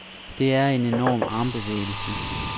Det er en enorm armbevægelse.